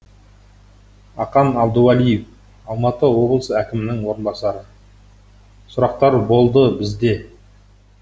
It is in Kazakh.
ақан абдуалиев алматы облысы әкімінің орынбасары сұрақтар болды бізде